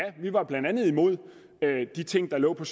vi var blandt andet imod de ting der lå på